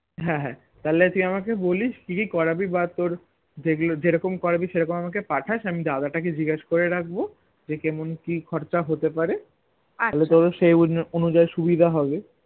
হ্যাঁ হ্যাঁ তাহলে তুই আমাকে বলিস কি কি করাবি বা তোর যেগুলো জেরোক্ষম করাবি সেরখম আমাকে পাঠাস আমি দাদা তাকে জিজ্ঞাস করে রাখবো যে কেমন কি খরচা হতেপারে তাহলে তোর সেই অনুযাই সুবিধা হবে